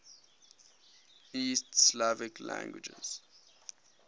east slavic languages